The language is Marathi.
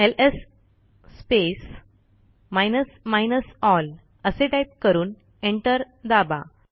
LS space minus minus L असे टाईप करून एंटर दाबा